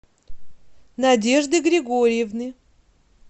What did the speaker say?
надежды григорьевны